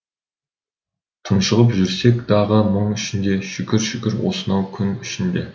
тұншығып жүрсек дағы мұң ішінде шүкір шүкір осынау күн үшін де